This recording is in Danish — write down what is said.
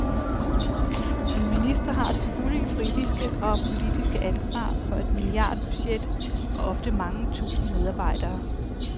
En minister har det fulde juridiske og politiske ansvar for et milliardbudget og ofte mange tusinde medarbejdere.